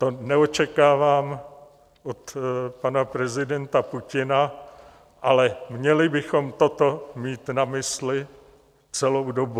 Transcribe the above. To neočekávám od pana prezidenta Putina, ale měli bychom toto mít na mysli celou dobu.